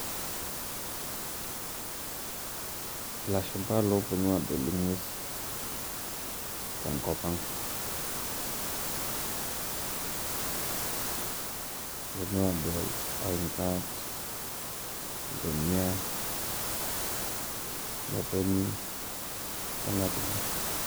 Ilashumpa loponu adol ing'uesi, tenkop ang'. Eponu adol oinkat, iltomia, imotonyi orng'atunyo.